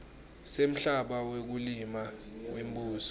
semhlaba wekulima wembuso